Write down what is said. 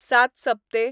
सात सप्ते